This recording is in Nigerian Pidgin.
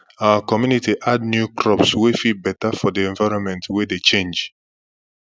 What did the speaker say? our community add new crops wey fit better for the environment wey dey change